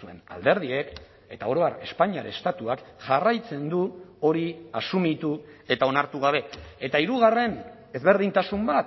zuen alderdiek eta oro har espainiar estatuak jarraitzen du hori asumitu eta onartu gabe eta hirugarren ezberdintasun bat